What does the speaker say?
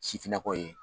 Sifinnakaw ye